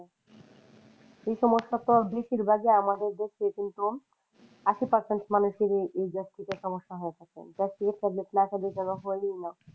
এই সমস্যা তো বেশির ভাগই আমাদের দেশে